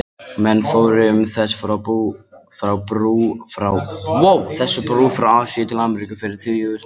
Menn fóru um þessa brú frá Asíu til Ameríku fyrir tugþúsundum ára.